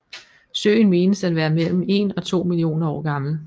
Søen menes at være mellem 1 og 2 millioner år gammel